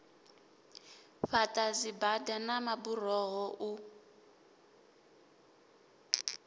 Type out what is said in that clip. fhaḓa dzibada na maburoho u